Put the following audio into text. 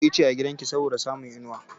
Ki shuka ice a gidan ki saboda samun inuwa!